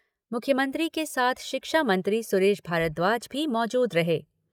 मुख्यमंत्री के साथ शिक्षा मंत्री सुरेश भारद्वाज भी मौजूद रहे।